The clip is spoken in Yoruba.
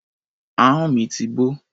Ahọ́n mi ti bó.